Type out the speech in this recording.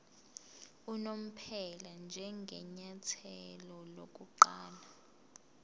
unomphela njengenyathelo lokuqala